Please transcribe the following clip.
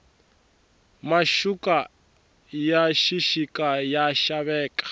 maxuka ya xixika ya xaveka